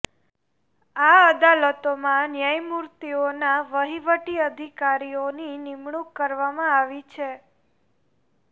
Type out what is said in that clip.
આ અદાલતોમાં ન્યાયમૂર્તિઓના વહીવટી અધિકારીઓની નિમણૂક કરવામાં આવી છે